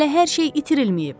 Hələ hər şey itirilməyib.